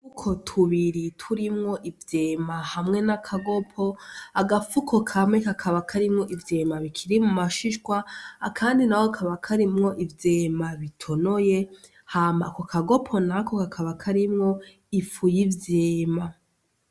Udufuko tubiri rurimwo ivyema hamwe nakagopo, agafuko kamwe kakaba karimwo ivyema bikiri mumashishwa Kandi nako kakaba karimwo ivyema bitonoye hama ako kagopo nako kakaba karimwo ifu y'ivyema.